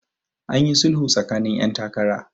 an yi sulhu tsakanin 'yan takara